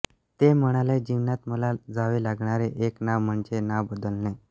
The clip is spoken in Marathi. ते म्हणाले जीवनात मला जावे लागणारे एक नाव म्हणजे नाव बदलणे